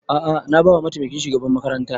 A'a na ba wa mataimakin shugaban makaranta